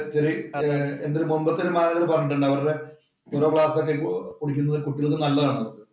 എന്‍റെ മുമ്പത്തെ ഒരു മാനേജര്‍ പറഞ്ഞിട്ടുണ്ട്. അവരുടെ ഒക്കെ കുടിക്കുന്നത് കുട്ടികള്‍ക്ക് നല്ലതാണെന്ന്.